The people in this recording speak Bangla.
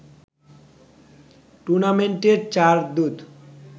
টুর্নামেন্টের চার দূত